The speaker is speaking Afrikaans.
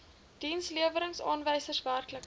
dienslewerings aanwysers werklike